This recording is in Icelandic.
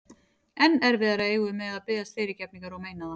Enn erfiðara eigum við með að biðjast fyrirgefningar og meina það.